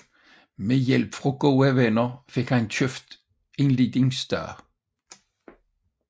Med hjælp fra gode venner fik han købt et lille sted